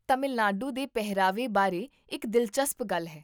ਤਾਮਿਲਨਾਡੂ ਦੇ ਪਹਿਰਾਵੇ ਬਾਰੇ ਇੱਕ ਦਿਲਚਸਪ ਗੱਲ ਹੈ